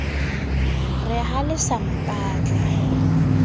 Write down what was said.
re ha le sa mpatla